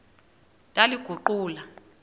ndaliguqula